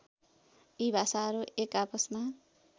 यी भाषाहरू एकाआपसमा